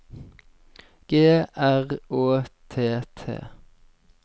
G R Å T T